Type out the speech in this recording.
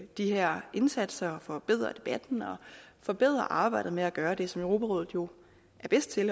de her indsatser forbedre debatten og forbedre arbejdet med at gøre det som europarådet jo er bedst til